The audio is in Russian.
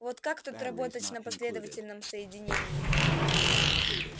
вот как тут работать на последовательном соединении